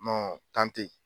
tɛ ye.